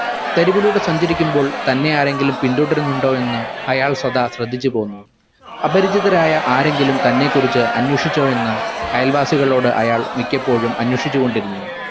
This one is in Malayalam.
തെരുവിലൂടെ സഞ്ചരിക്കുമ്പോൾ തന്നെ ആരെങ്കിലും പിന്തുടരുന്നുണ്ടോ എന്ന് അയാൾ സദാ ശ്രദ്ധിച്ചു പോകുന്നു അപരിചിതരായ ആരെങ്കിലും തന്നെ കുറിച്ചു അന്വേഷിച്ചോ എന്ന് അയൽവാസികളോട് അയാൾ മിക്കപ്പോഴും അന്വേഷിച്ചു കൊണ്ടിരുന്നു